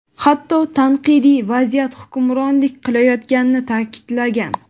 hatto tanqidiy vaziyat hukmronlik qilayotganini ta’kidlagan.